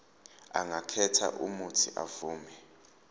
angakhetha uuthi avume